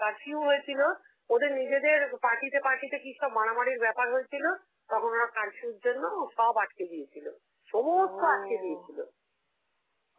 curfew হয়েছিল, ওদের নিজেদের party তে party তে কি সব মারামারির ব্যাপার হয়েছিল. তখন ওরা curfew র জন্য ও সব আটকে দিয়েছিল, সমস্ত আটকে দিয়েছিল.